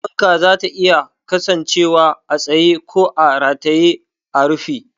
Fanka zata iya kasancewa a tsaye ko a rataye a rufi.